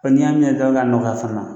Ɔ n'i y'a ɲɛ dɔrɔn k'a nɔgɔya fana